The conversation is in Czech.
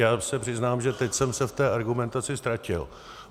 Já se přiznám, že teď jsem se v té argumentaci ztratil.